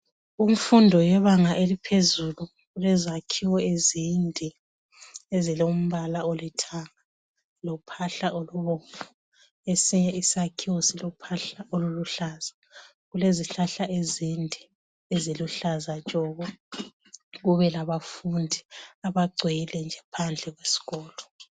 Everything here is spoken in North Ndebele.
Kumfundo yebanga eliphezulu lezakhiwo ezinde ezilombala olithanga lophahla olubomvu esinye isakhiwo silophahla oluluhlaza silezihlahla ezinde eziluhlaza tshoko abafundi bagcwele phandle indawo yonke